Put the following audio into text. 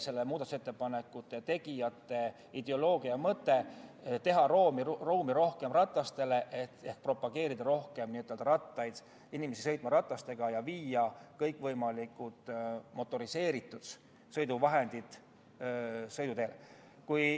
Selle muudatusettepaneku tegijate mõte oli teha rohkem ruumi ratastele ehk propageerida pigem rattaid ja viia kõikvõimalikud motoriseeritud sõiduvahendid sõiduteele.